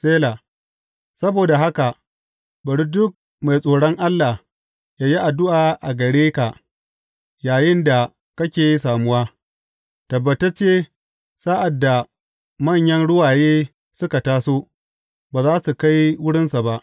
Sela Saboda haka bari duk mai tsoron Allah yă yi addu’a gare ka yayinda kake samuwa; tabbatacce sa’ad da manyan ruwaye suka taso, ba za su kai wurinsa ba.